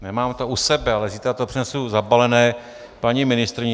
Nemám to u sebe, ale zítra to přinesu zabalené paní ministryni.